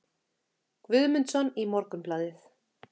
Guðmundsson í Morgunblaðið.